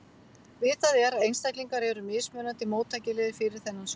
Vitað er að einstaklingar eru mismunandi móttækilegir fyrir þennan sjúkdóm.